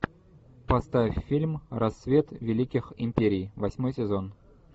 поставь фильм рассвет великих империй восьмой сезон